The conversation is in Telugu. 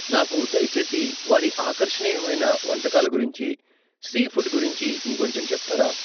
నాకు దయచేసి వారి ఆకర్షణీయమైన వంటకాల గురించి, సీఫుడ్ గురించి ఇంకొంచెం చెప్తారా?